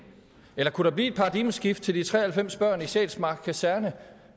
eller kunne der blive et paradigmeskifte til de tre og halvfems børn på sjælsmark kaserne